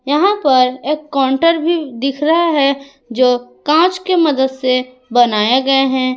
यहां पर एक काउंटर भी दिख रहा है जो कांच के मदद से बनाए गए हैं।